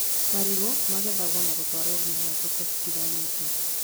Marigũ magethagwo na gũtwarwo nginya thoko citiganĩte